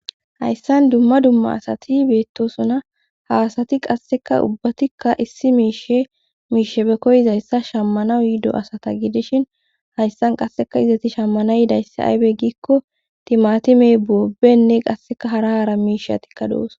hayssan dumma dumma asati beettosuna haasati qasseka ubbatikka issi miishe miishe be koyizayssa shammana uyiido asata gidishin hayssan qasseka izati shammanayidayssi aybe giikko timatime boobenne qasseka hara haara miishatikka doos